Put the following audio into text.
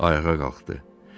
Ayağa qalxdı.